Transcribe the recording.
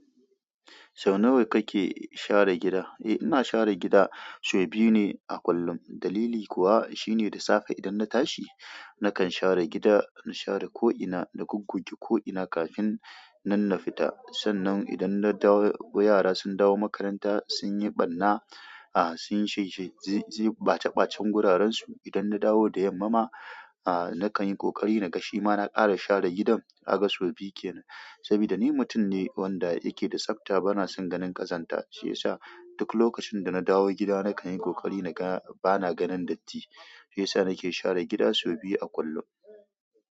Sau nawa kake share gida? Eh ina share gida sau biyu ne a kullum. Dalili kuwa shine da safe idan na tashi nakan share gida, in share ko'ina da goggoge ko'ina kafin nan na fita. Sannan idan na dawo, yara sun dawo makaranta sun yi ɓarna, ah sun yi sheshe, zai ɓata ɓacen guraren su. Idan na dawo da yamma ma, nakan yi ƙoƙari naga shi ma na ƙara share gidan. Kaga sau biyu kenan. Saboda ni mutum ne wanda yake da tsafta bana son ganin ƙazanta shiyasa duk lokacin da na dawo gida na kan yi ƙoƙari na ga bana ganin datti. Shiyasa nake share gida sau biyu a kullum.